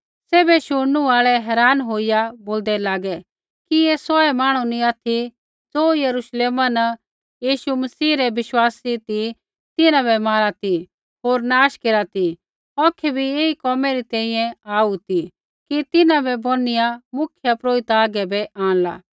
सैभै शुणनू आल़ै हैरान होईया बोलदै लागै कि ऐ सौहै मांहणु नी ऑथि ज़ो यरूश्लेमा न यीशु मसीह रै विश्वासी ती तिन्हां बै मारा ती होर नाश केरा ती औखै भी एही कोमै री तैंईंयैं आऊ ती कि तिन्हां बै बोनिआ मुख्यपुरोहिता हागै बै आंणला